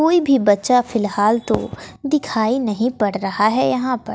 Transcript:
कोई भी बच्चा फिलहाल तो दिखाई नहीं पड़ रहा है यहां पर--